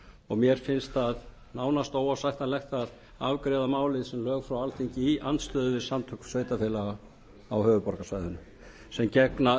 og mér finnst það nánast óásættanlegt að afgreiða málið sem lög frá alþingi í andstöðu við samtök sveitarfélaga á höfuðborgarsvæðinu sem gegna